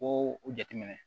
Ko o jateminɛ